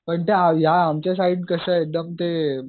पण ते ह्या आमच्या साईड कसं एकदम ते